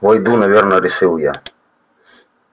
войду наверное решил я